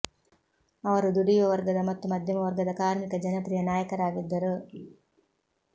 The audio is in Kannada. ಅವರು ದುಡಿಯುವ ವರ್ಗದ ಮತ್ತು ಮಧ್ಯಮ ವರ್ಗದ ಕಾರ್ಮಿಕರ ಜನಪ್ರಿಯ ನಾಯಕರಾಗಿದ್ದರು